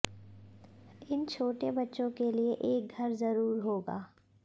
इन छोटे बच्चों के लिए एक घर ज़रूर होगा